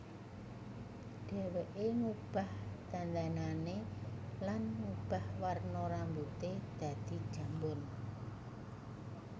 Dheweké ngubah dandanané lan ngubah warna rambuté dadi jambon